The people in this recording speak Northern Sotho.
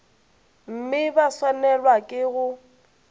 mme ba swanelwa ke go